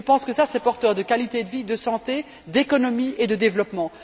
Je pense que cela est porteur de qualité de vie, de santé, d'économie et de développement.